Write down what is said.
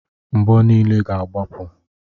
Mgbọ niile ga agbapụ.